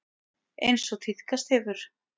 Eins og tíðkast hefur.